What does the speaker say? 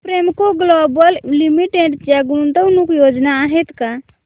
Premco Global Limited च्या गुंतवणूक योजना आहेत का